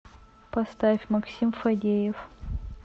поставь максим фадеев